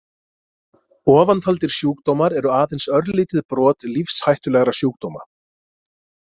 Ofantaldir sjúkdómar eru aðeins örlítið brot lífshættulegra sjúkdóma.